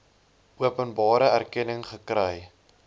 openbare erkenning gekry